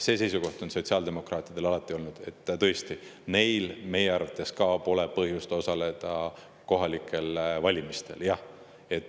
See seisukoht on sotsiaaldemokraatidel alati olnud, et neil osaleda kohalikel valimistel.